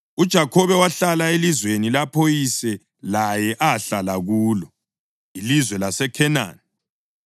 UJakhobe wahlala elizweni lapho uyise laye ahlala kulo, ilizwe laseKhenani.